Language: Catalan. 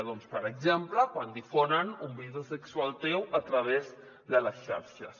doncs per exemple quan difonen un vídeo sexual teu a través de les xarxes